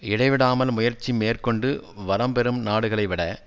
இடைவிடாமல் முயற்சி மேற்கொண்டு வளம் பெறும் நாடுகளைவிட